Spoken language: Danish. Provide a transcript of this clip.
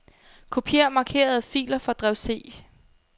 Kopier markerede filer fra drev C.